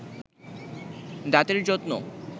দাতের যত্ন